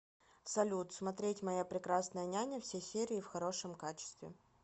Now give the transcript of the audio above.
салют смотреть моя прекрасная няня все серии в хорошем качестве